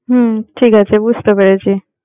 হম ঠিক আছে, বুঝতে পেরেছি।